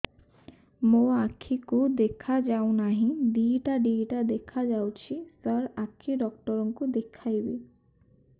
ମୋ ଆଖିକୁ ଦେଖା ଯାଉ ନାହିଁ ଦିଇଟା ଦିଇଟା ଦେଖା ଯାଉଛି ସାର୍ ଆଖି ଡକ୍ଟର କୁ ଦେଖାଇବି